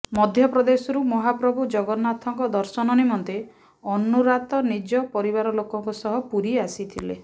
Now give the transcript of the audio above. ମଧ୍ୟପ୍ରଦେଶରୁ ମହାପ୍ରଭୁ ଜଗନ୍ନାଥଙ୍କ ଦର୍ଶନ ନିମନ୍ତେ ଅନୁରାତ ନିଜ ପରିବାର ଲୋକଙ୍କ ସହ ପୁରୀ ଆସିଥିଲେ